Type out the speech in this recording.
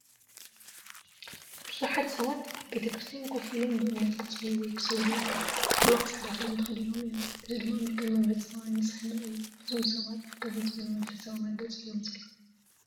ብዙሓት ሰባት ኣብ ቤተ ክርስቲያን ኮፍ ኢሎም ብእምነት ክጽልዩ ወይ ክሰግዱ ይረኣዩ። ኩሎም ጻዕዳ ክዳን ተኸዲኖም እዮም፣ እዚ ድማ ምልክት መንፈሳዊ ንጽህና እዩ። እዞም ሰባት ኣብ ከመይ ዝበለ መንፈሳዊ መርገጺ እዮም ዘለዉ?